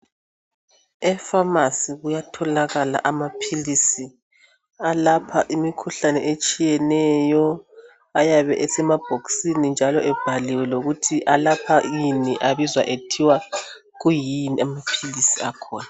Efamasi kuyatholakala amaphilisi alapha imikhuhlane etshiyeneyo. Ayabe esemabhokisini njalo ebhaliwe lokuthi alapha ini, abizwa kuthiwa kuyini amaphilisi akhona.